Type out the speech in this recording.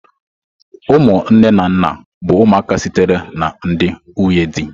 Ụmụ nne na nna bụ ụmụaka sitere na ndị nwunye di.